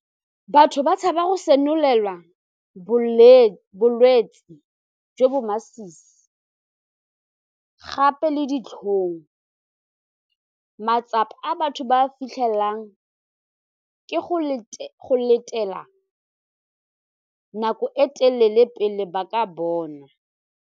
Batho ba tshaba go senolelwa bolwetsi jo bo masisi gape le ditlhong, matsapa a batho ba fitlhelelang ke go letela nako e telele pele ba ka bona.